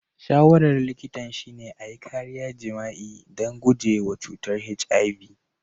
Shawarar likitan shine a yi kariya jima'i don guje wa cutar HIV.